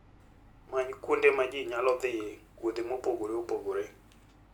Many kuonde ma ji nyalo dhiyoe e wuodhe mopogore opogore.